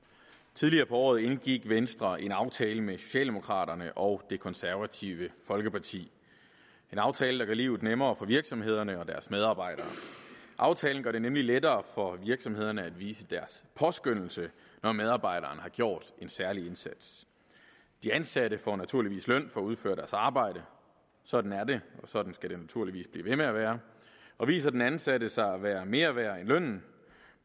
tidligere på året indgik venstre en aftale med socialdemokraterne og det konservative folkeparti en aftale der gør livet nemmere for virksomhederne og deres medarbejdere aftalen gør det nemlig lettere for virksomhederne at vise deres påskønnelse når medarbejderen har gjort en særlig indsats de ansatte får naturligvis løn for at udføre deres arbejde sådan er det og sådan skal det naturligvis blive ved med at være og viser den ansatte sig at være mere værd end lønnen